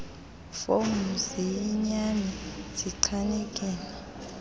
fomu ziyinyani zichanekile